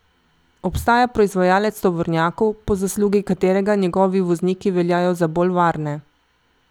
Obstaja proizvajalec tovornjakov, po zaslugi katerega njegovi vozniki veljajo za bolj varne.